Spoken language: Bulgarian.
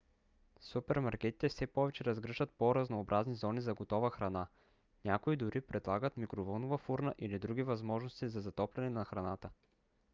супермаркетите все повече разгръщат по-разнообразни зони за готова храна. някои дори предлагат микровълнова фурна или други възможности за затопляне на храната